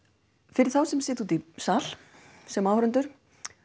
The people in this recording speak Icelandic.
fyrir þá sem sitja úti í sal sem áhorfendur